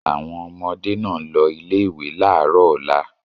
Àwọn ọmọdé náà ń lọ ilé-ìwé láàárọ̀ ọ̀la.